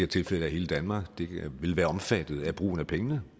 tilfælde er hele danmark vil være omfattet af brugen af pengene